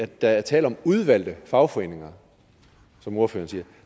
der er tale om udvalgte fagforeninger som ordføreren siger